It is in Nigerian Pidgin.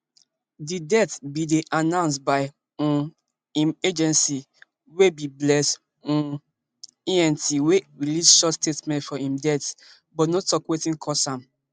di death bin dey announced by um im agency wey be bless um ent wey release short statement for im death but no tok wetin cause am